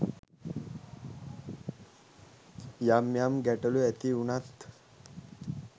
යම් යම් ගැටලු ඇති වුණත්